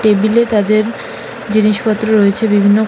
table এ তাদের জিনিস পত্র রয়েছে বিভিন্ন--